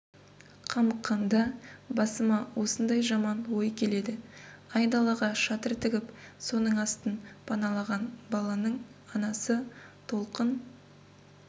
қамыққанда басыма осындай жаман ой келеді айдалаға шатыр тігіп соның астын паналаған баланың анасы толқын